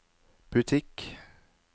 butikk